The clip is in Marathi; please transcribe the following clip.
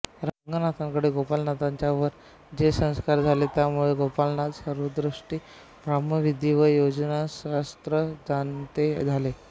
रंगनाथांकडे गोपाळनाथांच्यावर जे संस्कार झाले त्यामुळे गोपाळनाथ सर्वदृष्टीने ब्रह्मविद्या व योगशास्त्र जाणते झाले